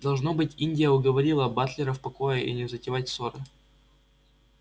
должно быть индия уговорила батлера в покое и не затевать ссоры